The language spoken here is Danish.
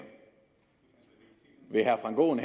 vil herre frank aaen